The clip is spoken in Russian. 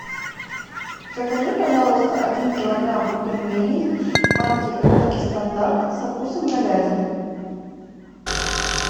закажи пожалуйста один килограмм пельменей марки русский стандарт со вкусом говядины